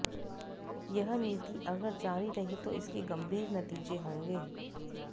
यह नीति अगर जारी रही तो इसके गंभीर नतीजे होंगे